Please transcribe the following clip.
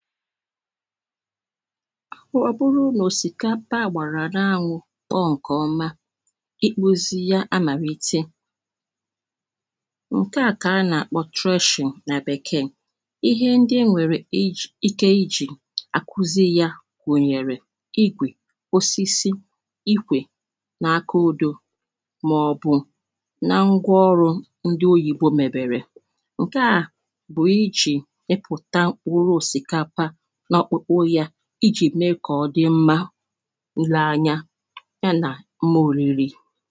Um ọ̀ bụrụ nà òsìkapa à gbàrà n’anwụ̇ kpọọ ǹkè ọma ikpozi ya amàrìte ǹke à kà a nà-àkpọ thrushing nà bekee ihe ndị e nwèrè iji ike ijì àkuzi ya gùnyèrè igwè osisi ikwè nà aka udo màọbụ̀ na ngwa ọrụ̇ ndị oyìbo mèbèrè ǹke à[paues] bụ̀ ijì mipụta mkpuru osikapa na okpụkpụ ya iji mee kà ọ̀ dị mma ilee anyȧ ya nà mmi̇ oriri.